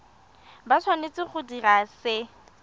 ba tshwanetse go dira se